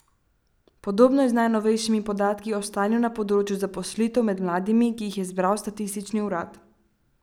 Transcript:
Podobno je z najnovejšimi podatki o stanju na področju zaposlitev med mladimi, ki jih je zbral statistični urad.